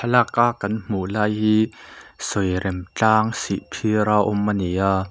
thlalaka kan hmuh lai hi sawirem tlang sihphir a awm a ni a--